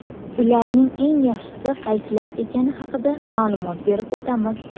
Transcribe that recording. Ularning eng yaxshisi qaysilar ekani haqida ma’lumot berib o‘tamiz.